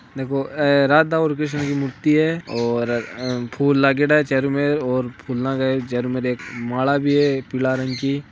देखो ए राधा और कृष्ण की मूर्ति है और फूल लागेडा है चारो मेर और फूला क चारो मेर एक माला भी है एक पीला रंग की।